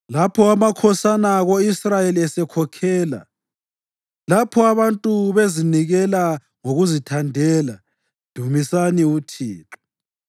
“Lapho amakhosana ko-Israyeli esekhokhela, lapho abantu bezinikela ngokuzithandela, dumisani uThixo!